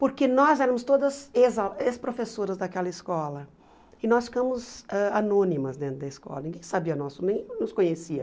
porque nós éramos todas ex a ex-professoras daquela escola, e nós ficamos ãh anônimas dentro da escola, ninguém sabia nosso, ninguém nos conhecia.